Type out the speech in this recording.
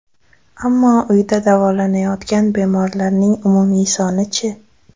Ammo uyda davolanayotgan bemorlarning umumiy soni-chi?